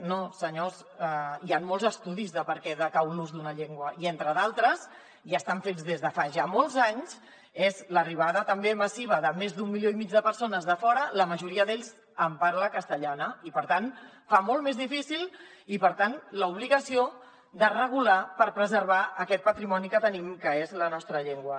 no senyors hi han molts estudis de per què decau l’ús d’una llengua i entre d’altres i estan fets des de fa ja molts anys és l’arribada també massiva de més d’un milió i mig de persones de fora la majoria d’ells amb parla castellana i per tant fa molt més difícil i per tant l’obligació de regular per preservar aquest patrimoni que tenim que és la nostra llengua